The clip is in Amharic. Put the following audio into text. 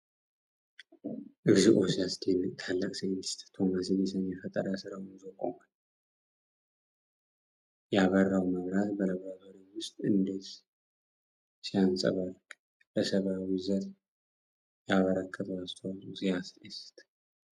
እግዚኦ! ሲያስደንቅ! ታላቁ ሳይንቲስት ቶማስ ኤዲሰን የፈጠራ ሥራውን ይዞ ቆሟል። ያበራው መብራት በላብራቶሪው ውስጥ እንዴት ሲያንጸባርቅ! ለሰብአዊ ዘር ያበረከተው አስተዋጽኦ ሲያስደስት!